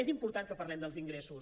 és important que parlem dels ingressos